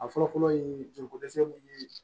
A fɔlɔ fɔlɔ ye joliko dɛsɛ mun ye